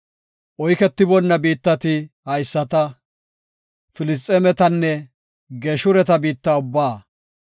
Oyketiboonna biittati haysata; Filisxeemetanne Geeshureta biitta ubbaa.